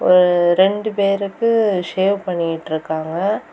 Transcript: ஒரு ரெண்டு பேருக்கு ஷேவ் பண்ணிட்ருக்காங்க.